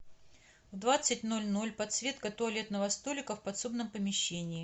в двадцать ноль ноль подсветка туалетного столика в подсобном помещении